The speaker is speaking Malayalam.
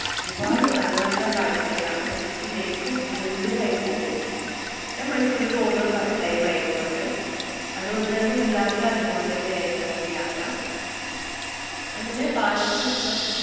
ഒരുപാട് നല്ല നല്ല കാഴ്ചകളാണ് നമുക്ക് ശരിക്കും അത്ഭുതമായി പോകും. ഞാന്‍ മൈസൂര് പോകുന്നത് first time ആയിരുന്നു അന്ന്. അതുകൊണ്ട് തന്നെ വല്ലാത്ത ഒരു അനുഭവം തന്നെയായിരുന്നു ആ യാത്ര. അങ്ങനെ palace മൊത്തം